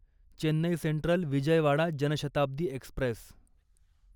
Chennai Central Vijayawada Janshatabdi Express